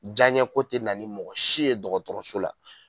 Jaɲɛko te na ni mɔgɔ si ye dɔgɔtɔrɔso la